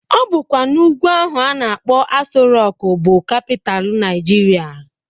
Obụkwa n'ugwu ahụ a na-akpọ Aso Rọk bụ kapital Naịjirịa